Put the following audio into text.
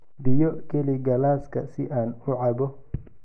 Biyo geli galaaska si aan u cabbo.